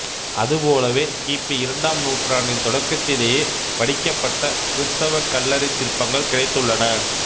அதுபோலவே கி பி இரண்டாம் நூற்றாண்டின் தொடக்கத்திலேயே வடிக்கப்பட்ட கிறித்தவக் கல்லறைச் சிற்பங்கள் கிடைத்துள்ளன